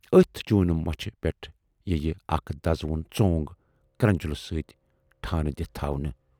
ٲتھۍ چوٗنہٕ مۅچھِ پٮ۪ٹھ یِیہِ اکھ دَزٕوُن ژۅنگ کرنجُل سۭتۍ ٹھانہٕ دِتھ تھَونہٕ۔